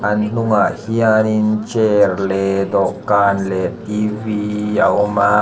an hnungah hianin chair leh dawhkan leh t v a awm a.